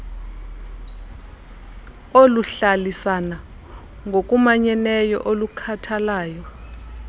oluhlalisana ngokumanyeneyo olukhathalayo